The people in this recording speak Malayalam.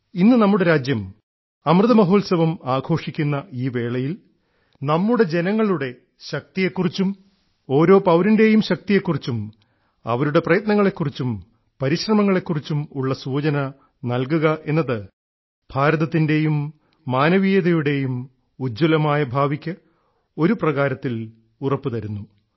ഇന്ന് നമ്മുടെ രാജ്യം അമൃത മഹോത്സവം ആഘോഷി ക്കുന്ന ഈ വേളയിൽ നമ്മുടെ ജനങ്ങളുടെ ശക്തിയെക്കുറിച്ചും ഓരോ പൌരൻറേയും ശക്തിയെക്കുറിച്ചും അവരുടെ പ്രയത്നങ്ങളെക്കുറിച്ചും പരിശ്രമങ്ങളെക്കുറിച്ചും ഉള്ള സൂചന നല്കുക എന്നത് ഭാരതത്തിൻറേയും മാനവീയതയുടേയും ഉജ്ജ്വലമായ ഭാവിക്ക് ഒരു പ്രകാരത്തിൽ ഉറപ്പ് തരുന്നു